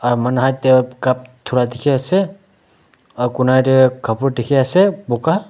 te cup dura dikhi ase aru corner te kalur diikhi ase buga.